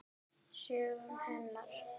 Sögu hennar.